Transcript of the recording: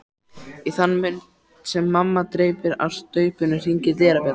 Í þann mund sem mamma dreypir á staupinu hringir dyrabjallan.